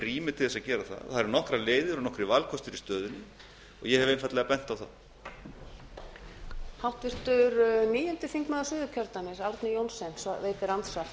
rými til að gera það það eru nokkrar leiðir og nokkrir valkostir í stöðunni og ég hef einfaldlega bent á þá